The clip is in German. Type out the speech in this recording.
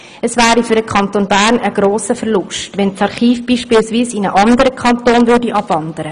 Es wäre für den Kanton Bern ein grosser Verlust, wenn das Archiv beispielsweise in einen anderen Kanton abwandern würde.